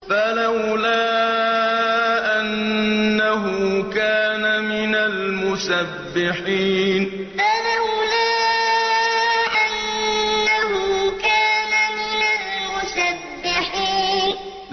فَلَوْلَا أَنَّهُ كَانَ مِنَ الْمُسَبِّحِينَ فَلَوْلَا أَنَّهُ كَانَ مِنَ الْمُسَبِّحِينَ